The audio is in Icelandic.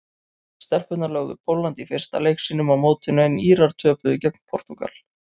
Stelpurnar lögðu Pólland í fyrsta leik sínum á mótinu en Írar töpuðu gegn Portúgal.